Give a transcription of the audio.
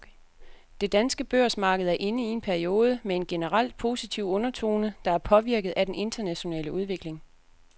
Det danske børsmarked er inde i en periode med en generelt positiv undertone, der er påvirket af den internationale udvikling.